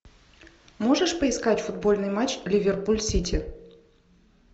можешь поискать футбольный матч ливерпуль сити